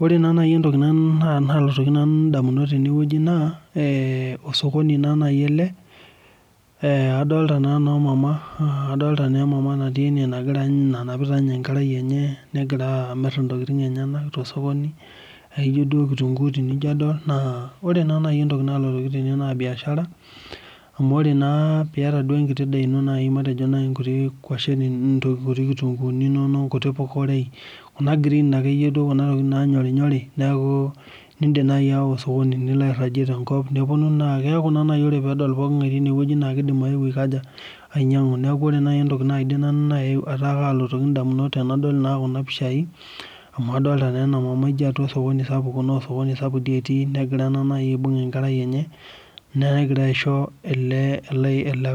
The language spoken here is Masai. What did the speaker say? Ore naa nai entoki nalotoki indamunot tene wueji naa ee osokoni na nai ele aa adolita naa noomama adolita emama natii ene nanapita ninye enkerai enye negira amir intokiting enyenak tosokoni ijo tu kitunguu tenijadol naa ore naa nai entoki nalotoki ndamunot naa biashara amu ore naa piata enkiti daa ino matejo naa nkuti kwashen nkuti kitunguuni nkuti puka kuna tokiting nanyorinyori niidim nai aawa osokoni nilo airhagie tenkop nepuonu naai keeku naa nai ore peedol pooking'ae time wueji naa kiidim ayeu aikaja ainyang'a Ore nai entoki nalotoki nanu indamunot tenadol naa kuna pishai amu kadolitaa naa enamama ijo osokoni sapuk etii negira aibung' enkerai enye negira aisho ele